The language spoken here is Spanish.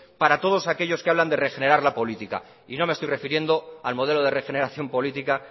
para todos aquellos que hablan de regenerar la política y no me estoy refiriendo al modelo de regeneración política